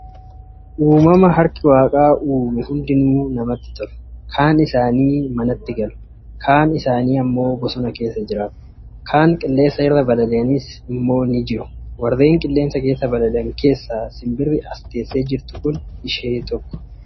Uumama harki waaqaa Uume hundinuu namatti tolu. Kaan isaanii manatti galu, aan isaanii immoo bosona keessa jiraatu. Kan qilleensa irra balali'anis immoo jiru. Warreen qilleensa keessa balali'an keessaa sinbirri as teessee jirtu kun tokko.